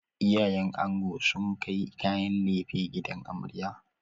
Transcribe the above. Iyayen ango sun kai kayan laife gidan amarya.